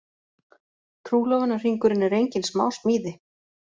Trúlofunarhringurinn er engin smásmíði